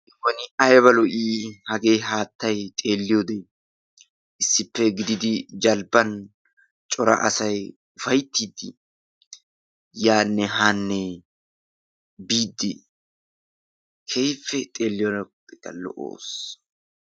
Woni ayba lo''i hage haattay xeeliyoode! issippe gididi jalbban cora asay ufayttiddi yaanne haane biidi keehippe xeeliyode lo'oos..